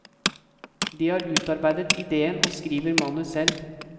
De har utarbeidet idéen og skriver manus selv.